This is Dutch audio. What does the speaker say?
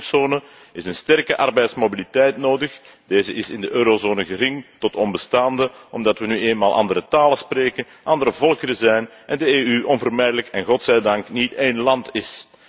Voor een éénmuntzone is een sterke arbeidsmobiliteit nodig. Deze is in de eurozone gering tot onbestaande, omdat we nu eenmaal andere talen spreken, andere volkeren zijn en de EU onvermijdelijk en God zij dank niet één land is.